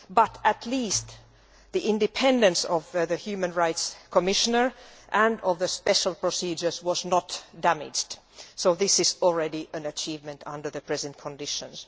But at least the independence of the Human Rights Commissioner and of the special procedure was not damaged, so this is already an achievement under the present conditions.